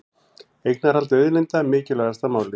Eignarhald auðlinda mikilvægasta málið